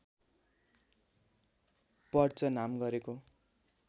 perch नाम गरेको